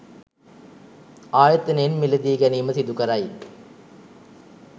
ආයතනයෙන් මිලදී ගැනීම සිදුකරයි